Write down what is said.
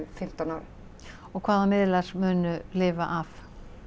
fimmtán árin og hvaða miðlar munu lifa af